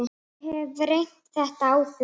Ég hef reynt þetta áður.